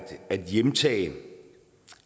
hjemtage